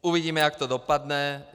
Uvidíme, jak to dopadne.